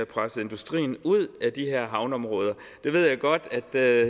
presset industrien ud af de her havneområder jeg ved godt at jeg